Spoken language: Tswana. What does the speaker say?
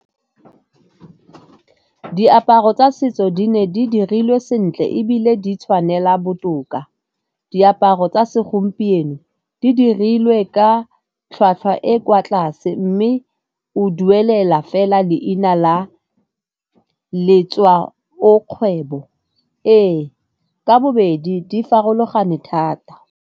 Diaparo tsa setso di ne di dirilwe sentle ebile di tshwanela botoka. Diaparo tsa segompieno di dirilwe ka e kwa tlase mme o duelela fela leina la letswa o kgwebo. Ee, ka bobedi di farologane thata.